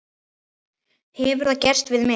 Hefur það gerst við mig?